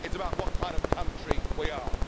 It's about what kind of country we are.